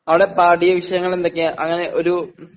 അവടെ പാഠ്യവിഷയങ്ങളെന്തൊക്കെയാ? അങ്ങനെ ഒരു